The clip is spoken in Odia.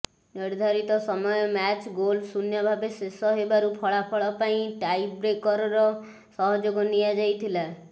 ନିର୍ଧାରିତ ସମୟ ମ୍ୟାଚ୍ ଗୋଲ୍ ଶୂନ୍ୟ ଭାବେ ଶେଷ ହେବାରୁ ଫଳାଫଳ ପାଇଁ ଟାଇବ୍ରେକରର ସହଯୋଗ ନିଆ ଯାଇଥିଲା